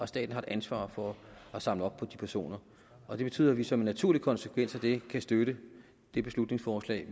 staten har et ansvar for at samle op på de personer og det betyder at vi som en naturlig konsekvens af det kan støtte det beslutningsforslag